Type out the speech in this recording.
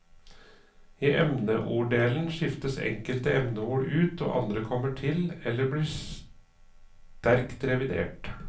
I emneorddelen skiftes enkelte emneord ut og andre kommer til eller blir sterkt revidert.